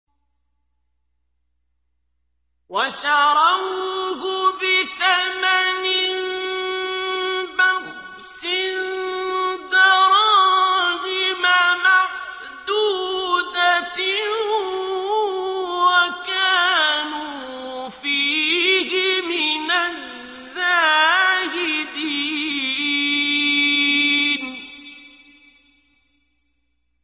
وَشَرَوْهُ بِثَمَنٍ بَخْسٍ دَرَاهِمَ مَعْدُودَةٍ وَكَانُوا فِيهِ مِنَ الزَّاهِدِينَ